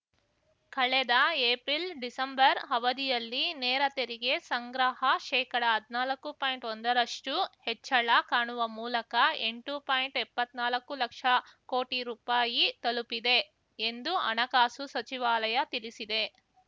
ಕಳೆದ April December ಅವಧಿಯಲ್ಲಿ ನೇರ ತೆರಿಗೆ ಸಂಗ್ರಹ ಶೇಕಡಹದ್ನಾಲ್ಕು ಪಾಯಿಂಟ್ಒಂದ ರಷ್ಟುಹೆಚ್ಚಳ ಕಾಣುವ ಮೂಲಕ ಎಂಟು ಪಾಯಿಂಟ್ಎಪ್ಪತ್ ನಾಲಕ್ಕು ಲಕ್ಷ ಕೋಟಿ ರುಪಾಯಿ ತಲುಪಿದೆ ಎಂದು ಹಣಕಾಸು ಸಚಿವಾಲಯ ತಿಳಿಸಿದೆ